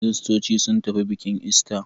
Kiristoci sun tafi bikin ister.